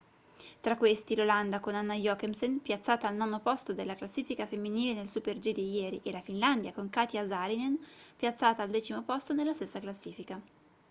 tra questi l'olanda con anna jochemsen piazzata al nono posto nella classifica femminile nel super-g di ieri e la finlandia con katja saarinen piazzata al decimo posto nella stessa classifica